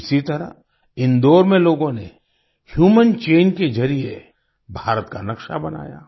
इसी तरह इंदौर में लोगों ने ह्यूमन चैन के जरिए भारत का नक्शा बनाया